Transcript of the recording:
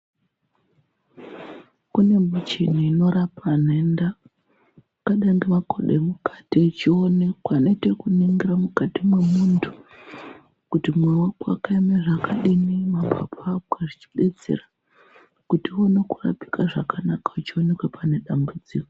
Kune michini inorapa nhenda yakadai ngemakodo emukati echionekwa inoite kuningira mukati mwemuntu kuti mwoyo wako wakaeme zvakadini mapapu ako yechibetsera kuti uone kurapika zvakanaka wechionekwe pane dambudziko.